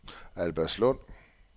Albertslund